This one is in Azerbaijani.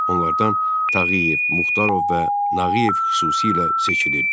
Onlardan Tağıyev, Muxtarov və Nağıyev xüsusilə seçilirdi.